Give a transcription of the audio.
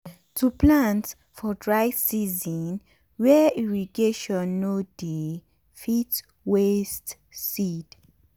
to plant for dry season wey irrigation no dey fit waste seed.